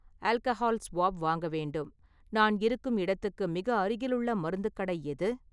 Alcohol swab வாங்க வேண்டும், நான் இருக்கும் இடத்துக்கு மிக அருகிலுள்ள மருத்துக் கடை எது?